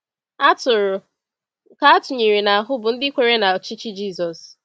Atụrụ nke atụnyere ahụ bụ ndị kwere na ọchịchị Jisọs.